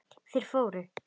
Þeir fóru.